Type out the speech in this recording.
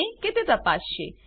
છે કે તે તપાસસે